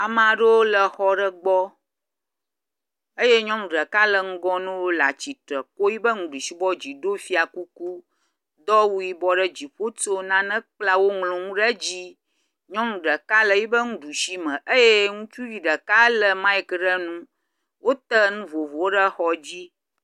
Amea ɖewo le xɔa ɖe gbɔ eye nyɔnu ɖeka le ŋgɔ na wo le atsitre ko yibe nuɖusi bɔ dzi, do fia kuku, kɔ aw yibɔ do ɖe dziƒo, wotso nane kpla, woŋlɔ nu ɖe dzi. Nyɔnu ɖeka le yibe nuɖusi me eye ŋutsuvi ɖeka lé maik ɖe nu, wote nu vovovowo ɖe xɔ dzi.